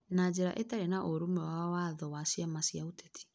na njĩra ĩtarĩ na ũrũmwe na Watho wa ciama cia ũteti